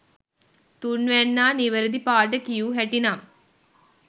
තුන්වැන්නා නිවැරදි පාට කියූ හැටි නම්